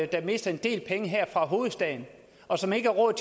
der mister en del penge her og som ikke har råd